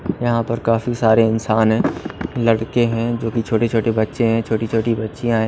यहां पर काफी सारे इंसान हैं लड़के हैं जो कि छोटे छोटे बच्चे हैं छोटी छोटी बच्चियां हैं।